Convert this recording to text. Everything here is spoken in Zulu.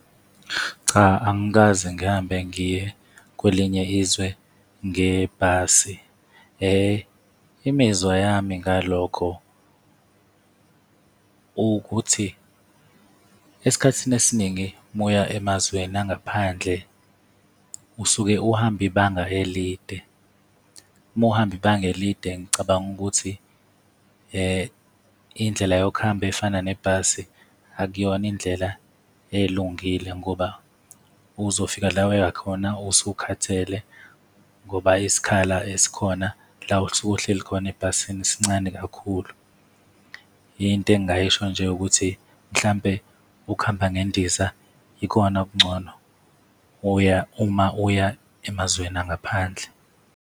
Cha, angikaze ngihambe ngiye kwelinye izwe ngebhasi. Imizwa yami ngalokho ukuthi esikhathini esiningi muya emazweni angaphandle usuke uhamba ibanga elide, muhamba ibanga elide ngicabanga ukuthi indlela yokuhamba efana nebhasi akuyona indlela elungile ngoba uzofika la wuya khona usukhathele, ngoba isikhala esikhona la osuke uhleli khona ebhasini sincane kakhulu. Into engingayisho nje ukuthi mhlampe ukuhamba ngendiza ikona okungcono uya, uma uya emazweni angaphandle.